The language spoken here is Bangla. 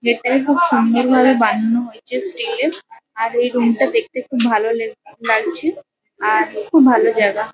গেট -টাকে খুব সুন্দর ভাবে বানানো হয়েছে স্টিল -এর। আর এই রুম -টা দেখতে খুব ভালো লে লাগছে। আর খুব জায়গা।